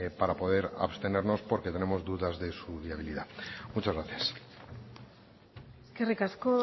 para poder abstenernos porque tenemos dudas de su viabilidad muchas gracias eskerrik asko